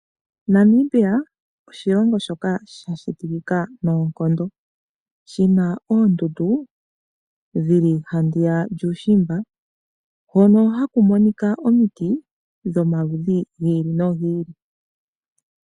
Namibia osho oshilongo shoka shatikikika noonkondo. Oshina oondundu, dhili handiya lyuushimba, hono haku monika omiti dhomaludhi gi ili nogi ili.